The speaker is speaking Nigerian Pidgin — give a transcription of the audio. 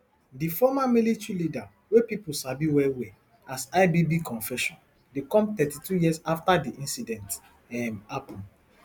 di former military leader wey pipo sabi wellwell as ibb confession dey come thirty-two years afta di incident um happun